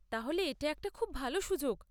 তাহলে এটা একটা খুব ভাল সুযোগ।